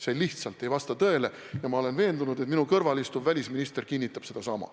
See lihtsalt ei vasta tõele ja ma olen veendunud, et minu kõrval istuv välisminister kinnitab sedasama.